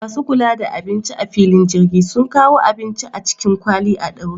Masu kula da abinci a filin jirgi sun kawo abincin a cikin kwali a ɗaure